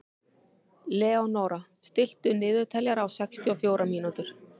Leónóra, stilltu niðurteljara á sextíu og fjórar mínútur.